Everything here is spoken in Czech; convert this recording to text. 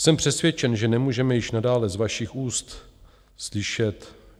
Jsem přesvědčen, že nemůžeme již nadále z vašich úst slyšet: